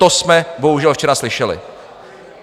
To jsme bohužel včera slyšeli.